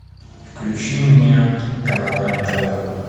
включи мне канал рен тв